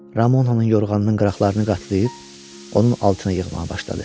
Ramonanın yorğanının qıraqlarını qatlayıb onun altına yığmağa başladı.